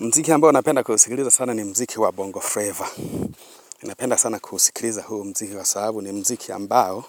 Mziki ambao napenda kuusikiliza sana ni mziki wa Bongo Flavour. Napenda sana kuusikiliza huu mziki kwa sababu ni mziki ambao